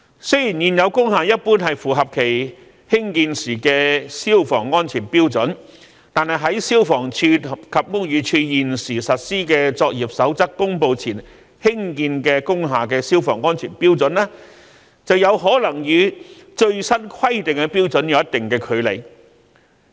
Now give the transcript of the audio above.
雖然現有工廈一般符合其興建時的消防安全標準，但在消防處及屋宇署現時實施的作業守則公布前興建的工廈的消防安全標準，便有可能與最新規定的標準有一定的距離。